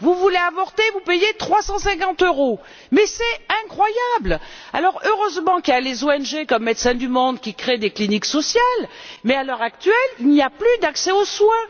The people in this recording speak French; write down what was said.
Si vous voulez avorter, vous devez payer trois cent cinquante euros. Mais c'est incroyable! Heureusement qu'il y a des ONG comme Médecins du monde qui créent des cliniques sociales, mais, à l'heure actuelle, il n'y a plus d'accès aux soins.